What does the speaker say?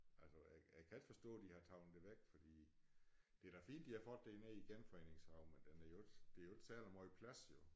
Altså jeg jeg kan ikke forstå de har taget det væk fordi det da fint de har fået det nede i æ Genforeningshave men den er jo ikke det er jo ikke særlig måj plads jo